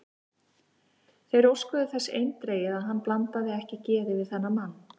Þeir óskuðu þess eindregið, að hann blandaði ekki geði við þennan mann.